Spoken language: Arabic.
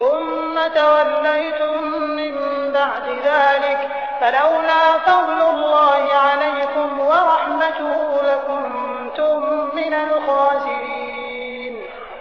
ثُمَّ تَوَلَّيْتُم مِّن بَعْدِ ذَٰلِكَ ۖ فَلَوْلَا فَضْلُ اللَّهِ عَلَيْكُمْ وَرَحْمَتُهُ لَكُنتُم مِّنَ الْخَاسِرِينَ